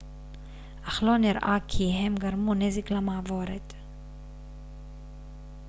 אך לא נראה כי הם גרמו נזק למעבורת